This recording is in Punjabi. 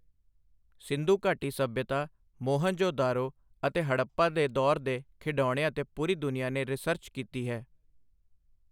ਸਿੰਧੁਘਾਟੀ ਸੱਭਿਅਤਾ, ਮੋਹਨਜੋ ਦਾਰੋ ਅਤੇ ਹੜੱਪਾ ਦੇ ਦੌਰ ਦੇ ਖਿਡੌਣਿਆਂ ਤੇ ਪੂਰੀ ਦੁਨੀਆ ਨੇ ਰਿਸਰਚ ਕੀਤੀ ਹੈ।